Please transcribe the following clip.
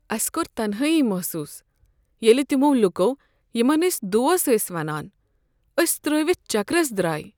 اسہِ کوٚر تنہای محسوس ییٚلہ تِمو لوٗکو یِمن أسۍ دوست ٲسۍ ونان أسۍ ترٲوِتھ چكرس درٛاے۔